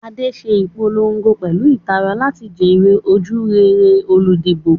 Ade ń ṣe ìpolongo pẹ̀lú ìtara láti jèrè ojúrere olùdìbò.